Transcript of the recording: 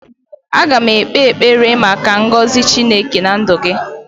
aga m ekpe ekpere maka ngozi Chineke na ndụ gi